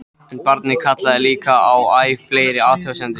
En barnið kallaði líka á æ fleiri athugasemdir.